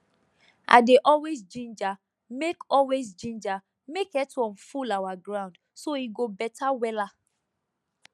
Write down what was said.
i dey always ginger make always ginger make earthworm full our ground so e go better wella